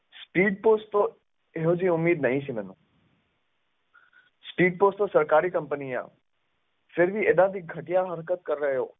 Speed post ਤੋਂ ਇਹੋ ਜਿਹੀ ਉਮੀਦ ਨਹੀਂ ਸੀ ਮੈਨੂੰ Speed post ਤਾਂ ਸਰਕਾਰੀ company ਆਂ, ਫਿਰ ਵੀ ਏਦਾਂ ਦੀ ਘਟੀਆ ਹਰਕਤ ਕਰ ਰਹੇ ਹੋ।